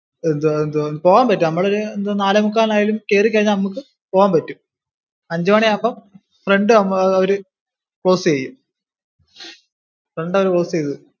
പോകാൻ പറ്റും നമ്മൾ ഒരു നാലേ മുക്കാലായാലും കേറി കഴിഞ്ഞ പോകാൻ പറ്റും. അഞ്ചു മണിയാകുമ്പോൾ front അവര് close ചെയ്യും. front അവര് close ചെയ്യും.